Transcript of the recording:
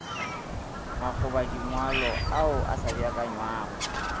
makgobadingwalo ao a sa beakanywago